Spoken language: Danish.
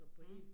Mh